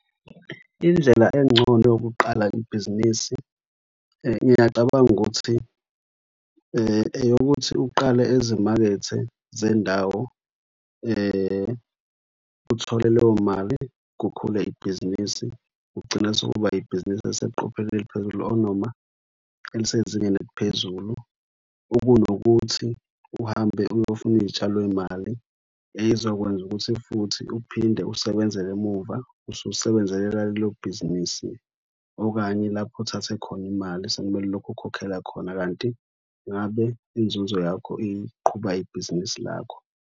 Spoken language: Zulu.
Indlela engcono yokuqala ibhizinisi ngiyacabanga ukuthi eyokuthi uqale ezimakethe zendawo uthole leyo mali kukhule ibhizinisi. Ugcina sekuba ibhizinisi eliseqophelweni eliphezulu or noma elisezingeni eliphezulu ukunokuthi uhambe uyofuna iy'tshalomali eyizokwenza ukuthi futhi uphinde usebenzele emumva. Ususebenzela lelo bhizinisi okanye lapho uthathe khona imali. Sekumele lokhu ukhokhela khona kanti ngabe inzuzo yakho iqhuba ibhizinisi lakho.